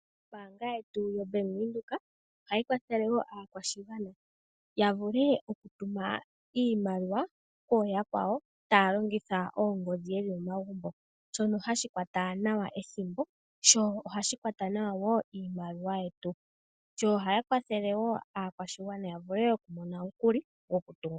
Ombaanga yetu yoBank Windhoek ohayi kwathele wo aakwashigwana ya vule okutuma iimaliwa kuyakwawo taya longitha oongodhi yeli momagumbo shono hashi kwata nawa ethimbo sho ohashi kwata nawa wo iimaliwa yetu. Ohaya kwathele wo aakwashigwana ya vule okumona omukuli gokutunga omatungo.